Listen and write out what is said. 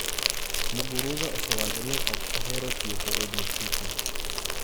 Muguruza osewacho ni ok ohero tieko e dier tuke.